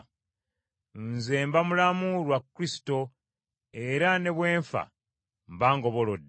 Nze mba mulamu lwa Kristo era ne bwe nfa mba ngobolodde.